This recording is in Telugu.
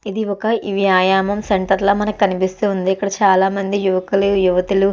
ఇది ఒక వ్యాయామ సెంటర్ లా మనకు కనిపిస్తూ ఉంది. ఇక్కడ చాలా యువకులు యువతులు.